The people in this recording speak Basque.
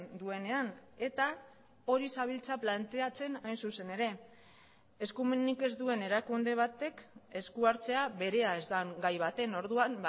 duenean eta hori zabiltza planteatzen hain zuzen ere eskumenik ez duen erakunde batek eskuhartzea berea ez den gai baten orduan